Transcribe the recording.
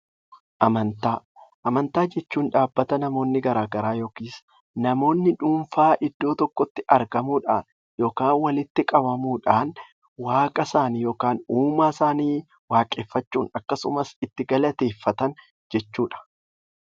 Amantaa Amantaa jechuun dhaabbata namoonni garaagaraa namoonni dhuunfaan iddoo tokkotti argamuun beekamudha. Walitti qabamuudhaan waaqa isaanii uumaa isaanii waaqeffachuu itti galateeffatan jechuudha.